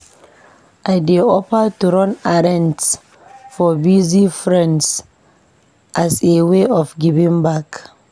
I dey offer to run errands for busy friends as a way of giving back.